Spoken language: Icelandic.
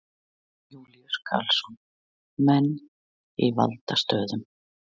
Jón Júlíus Karlsson: Menn í valdastöðum?